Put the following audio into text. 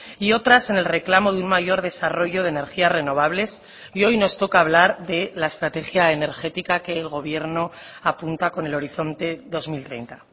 y otras en el reclamo de un mayor desarrollo de energías renovables y hoy nos toca hablar de la estrategia energética que el gobierno apunta con el horizonte dos mil treinta